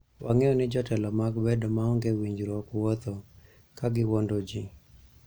Wang'eyo ni jotelo mag bedo maonge winjruok wuotho ??ka giwuondo ji